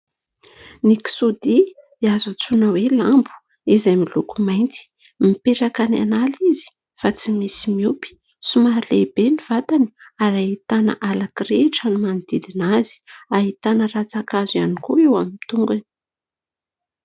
Ny kisoadia azo antsoina hoe lambo izay miloko mainty, mipetraka any an'ala izy fa tsy misy miompy, somary lehibe ny vatany ary ahitana ala kirihitra no manodidina azy, ahitana ratsa-kazo ihany koa eo amin'ny tongany.